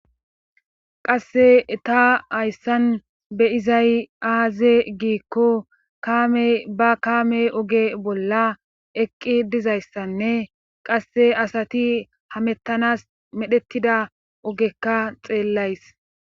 Qasse ta hayssan beyizay aaze giikko kamey ba kaame oge bolla eqqi dizayssanne qasse asati hamettanas medhettida ogekka xeellays